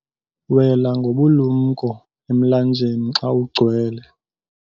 wela ngobulumko emlanjeni xa ugcwele